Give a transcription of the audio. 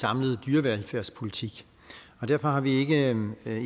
samlet dyrevelfærdspolitik og derfor har vi ikke